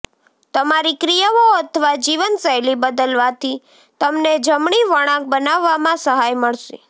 તમારી ક્રિયાઓ અથવા જીવનશૈલી બદલવાથી તમને જમણી વળાંક બનાવવામાં સહાય મળશે